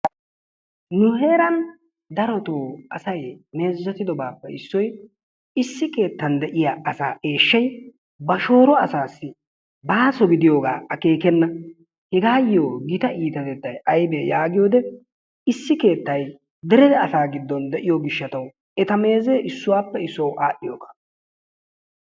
nu heeran darotoo meezetidoobappe issoy issi keettan de'iya asa eeshshay ba shooro asassi baaso gidiyaaga akeekkena. hegayyo gita iitatettay aybbe yaagiyo wode issi keettay dere asaa giddon de'iyo gishshataw eta meezee issuwappe issuwaw aadhdhiyooga.